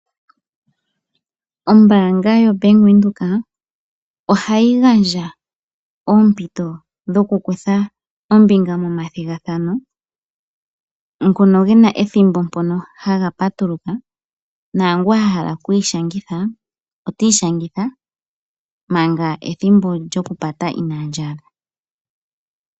Ombaanga yo bank Windhoek ohayi gandja oompito dhokukutha ombinga momathigathano ngono gena ethimbo haga patuluka naangu ahala oku ishangitha ota ishangitha manga ethimbo lyoku pata inali adha.